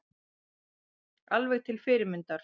Alveg til fyrirmyndar